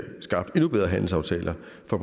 få